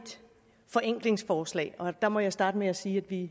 forenklingsforslag og der må jeg starte med at sige at vi i